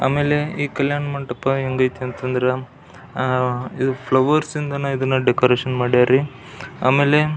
ಆಮೇಲೆ ಈ ಕಲ್ಯಾಣ ಮಂಟಪ ಹೆಂಗ್ ಅಯ್ತಿ ಅಂತ ಅಂದ್ರೆ ಇದು ಫ್ಲವರ್ಸ್ ಇಂದಾನೆ ಇದನ್ನ ಡೆಕೋರೇಷನ್ ಮಾಡ್ಯರಿ ಆಮೇಲೆ --